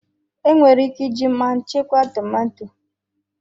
Enwere ike iji mmanụ chekwa tomato.